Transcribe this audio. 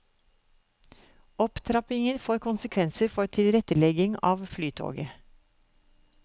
Opptrappingen får konsekvenser for tilretteleggingen av flytoget.